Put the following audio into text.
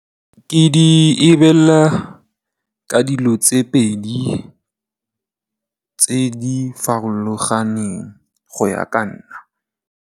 Ke di lebelela ka dilo tse pedi tse di farologaneng go ya ka nna.